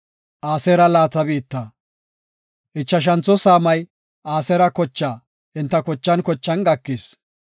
Ichashantho saamay Aseera kochaa enta kochan kochan gakis.